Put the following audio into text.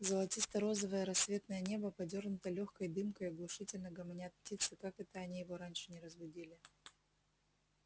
золотисто-розовое рассветное небо подёрнуто лёгкой дымкой оглушительно гомонят птицы как это они его раньше не разбудили